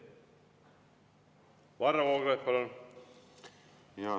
Varro Vooglaid, palun!